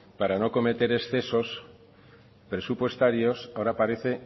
para no cometer excesos presupuestarios ahora parece